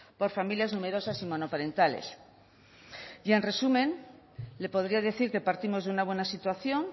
por familias numerosas y monoparentales y en resumen le podría decir que partimos de una buena situación